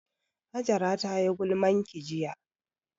Hajara tayi gulmanki jiya